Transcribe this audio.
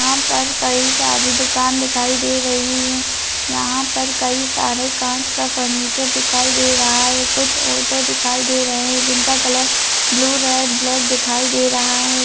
यहाँ पर कई सारी दुकान दिखाई दे रही है | यहाँ पर कई सारे कांच का फर्नीचर दिखाई दे रहा है कुछ ऑटो दिखाई दे रहे है जिनका कलर ब्लू रेड ब्लैक दिखाई दे रहा है।